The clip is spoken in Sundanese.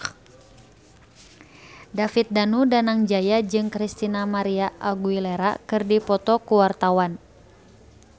David Danu Danangjaya jeung Christina María Aguilera keur dipoto ku wartawan